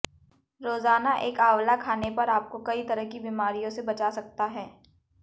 रोजाना एक आंवला खाने पर आपको कई तरह की बीमारियों से बचा सकता है